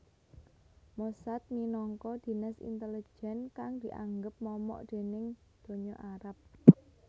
Mossad minangka dinas intelijen kang dianggep momok déning donya Arab